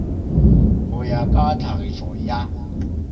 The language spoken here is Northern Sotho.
go ya ka tlhagišo ya